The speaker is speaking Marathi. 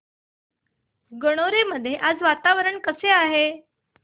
गणोरे मध्ये आज वातावरण कसे आहे